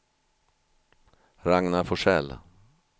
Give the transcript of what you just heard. Ragnar Forsell